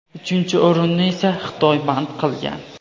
uchinchi o‘rinni esa Xitoy band qilgan.